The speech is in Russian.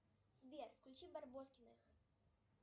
сбер включи барбоскиных